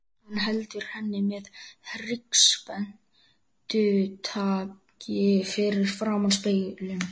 Hann heldur henni með hryggspennutaki fyrir framan spegilinn.